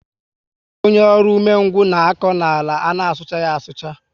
Ọ bu so ónyé ọrụ ụgbọ ume ngwu na akọ àlà ana suchaghi asucha